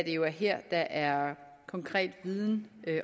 jo er her der er konkret viden